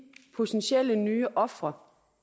potentielle nye ofre